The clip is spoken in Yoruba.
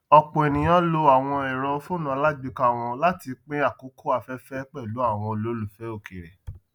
ọpọ ènìyàn lò àwọn èrò fónú alágbèéká wọn láti pín àkókò afẹfẹ pẹlú àwọn olólùfẹ òkèèrè